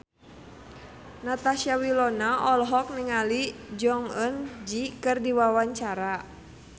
Natasha Wilona olohok ningali Jong Eun Ji keur diwawancara